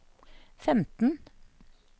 femten